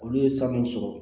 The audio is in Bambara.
Olu ye san mun sɔrɔ